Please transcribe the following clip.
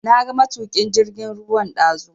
Na ga matukin jirgin ruwan dazu.